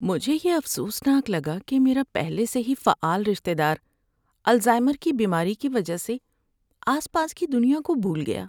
مجھے یہ افسوسناک لگا کہ میرا پہلے سے فعال رشتہ دار الزائمر کی بیماری کی وجہ سے آس پاس کی دنیا کو بھول گیا۔